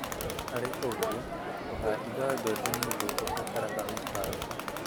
Harĩ ũguo, ũhandi wa mbembe nĩ ũndũ ũbataraga mĩbango